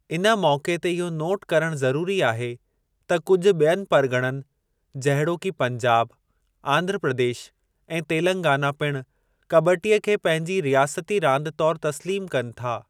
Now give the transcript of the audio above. इन मौक़े ते इहो नोट करणु ज़रूरी आहे त कुझु ॿियनि परग॒णनि जहिड़ोकि पंजाब आंध्र प्रदेश ऐं तेलंगाना पिणु कब॒टीअ खे पंहिंजी रियासती रांदि तौर तस्लीमु कनि था।